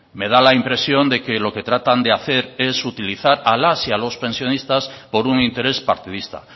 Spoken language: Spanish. me da la impresión de que lo que tratan de hacer es utilizar a las y a los pensionistas por un interés partidista